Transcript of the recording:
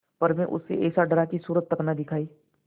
पर मैं उससे ऐसा डरा कि सूरत तक न दिखायी